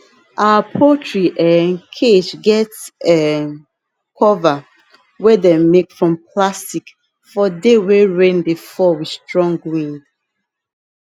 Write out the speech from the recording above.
our poultry um cage get um cover wey dem make from plastic for day wey rain dey fall with strong wind